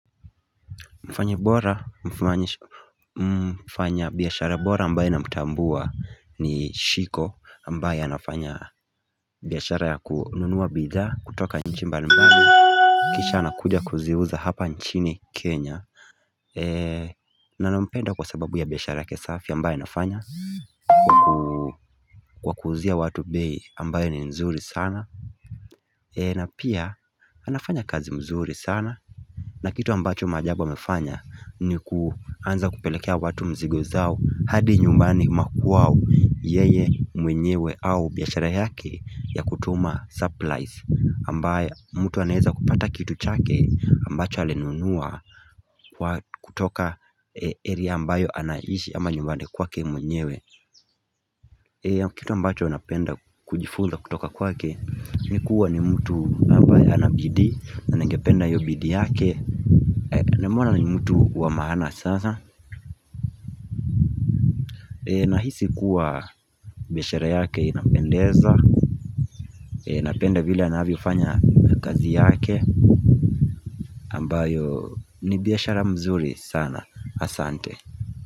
Mfanyi bora, mfanya biashara bora ambaye namtambua ni Shiko, ambaye anafanya biashara ya kununuwa bidhaa kutoka nchi mbalimbali, kisha anakuja kuziuza hapa nchini kenya na nampenda kwa sababu ya biashara yake safi ambayo anafanya, kwa kuuzia watu bei ambayo ni mzuri sana na pia anafanya kazi mzuri sana na kitu ambacho maajabu amefanya, ni kuanza kupelekea watu mzigo zao hadi nyumbani, makwao yeye mwenyewe au biashara yake ya kutuma supplies ambayo mtu anaweza kupata kitu chake ambacho alinunua kwa kutoka area ambayo anahishi ama nyumbani kwake mwenyewe Kitu ambacho napenda kujifunza kutoka kwake ni kuwa ni mtu ambaye ana bidii, na ningependa hiyo bidii yake. Namwona ni mtu wa maana sana Nahisi kuwa biashara yake inapendeza Napende vile anavyofanya kazi yake ambayo ni biashara mzuri sana. Asante.